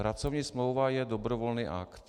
Pracovní smlouva je dobrovolný akt.